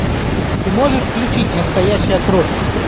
ты можешь включить настоящая кровь